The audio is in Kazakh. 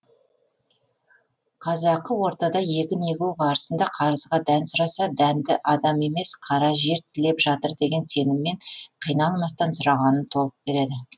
қазақы ортада егін егу барысында қарызға дән сұраса дәнді адам емес қара жер тілеп жатыр деген сеніммен қиналмастан сұрағанын толық береді